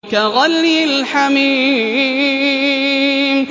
كَغَلْيِ الْحَمِيمِ